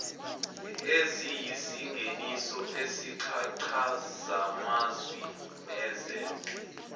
eziyisingeniso sezichazamazwi nezenze